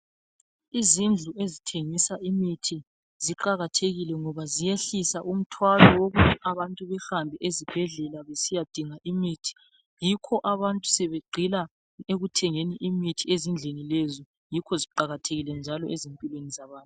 Izindlu ezithengisa imithi ziqakathekile ngoba ziyehlisa umthwalo wokuthi abantu behambe ezibhedlela besiyadinga imithi. Yikho abantu sebegxila ekuthengeni imithi ezindlini lezi. Yikho ziqakathekile njalo ezimpilweni zabantu.